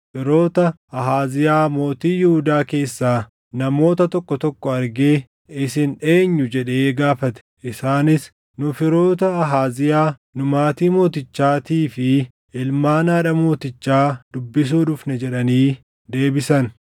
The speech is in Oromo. firoota Ahaaziyaa mootii Yihuudaa keessaa namoota tokko tokko argee, “Isin eenyu?” jedhee gaafate. Isaanis, “Nu firoota Ahaaziyaa; nu maatii mootichaatii fi ilmaan haadha mootichaa dubbisuu dhufne” jedhanii deebisan.